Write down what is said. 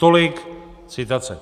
Tolik citace.